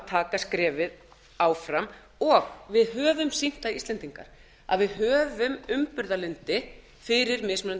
taka skrefið áfram og við höfum sýnt það íslendingar að við höfum umburðarlyndi fyrir mismunandi